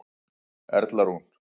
Erla Rún.